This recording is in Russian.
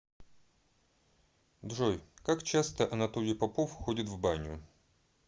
джой как часто анатолий попов ходит в баню